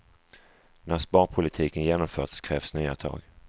När sparpolitiken genomförts krävs nya tag.